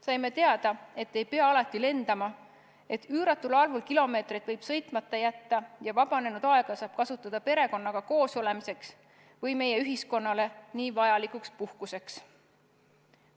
Saime teada, et ei pea alati lendama, et üüratul arvul kilomeetreid võib sõitmata jätta ja vabanenud aega saab kasutada perekonnaga koosolemiseks või meie ühiskonnale nii vajalikuks puhkuseks.